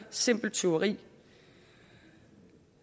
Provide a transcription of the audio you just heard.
simpelt tyveri